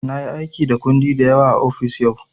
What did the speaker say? Na yi aiki da kundi da yawa a ofis yau.